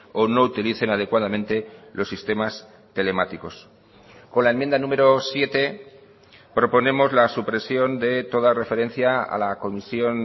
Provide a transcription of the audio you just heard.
o no utilicen adecuadamente los sistemas telemáticos con la enmienda número siete proponemos la supresión de toda referencia a la comisión